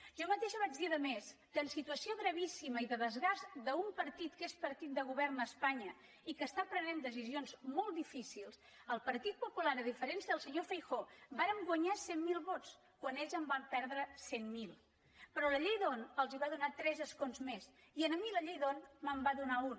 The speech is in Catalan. jo mateixa vaig dir a més que en situació gravíssima i de desgast d’un partit que és partit de govern a espanya i que està prenent decisions molt difícils el partit popular a diferència del senyor feijóo vàrem guanyar cent mil vots quan ells en van perdre cent mil però la llei d’hondt els va donar tres escons més i a mi la llei d’hondt me’n va donar un